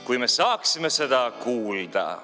Kui me saaksime seda kuulda ...